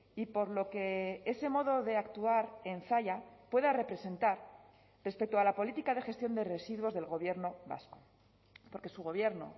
y por lo que ese modo de actuar en zalla pueda representar respecto a la política de gestión de residuos del gobierno vasco porque su gobierno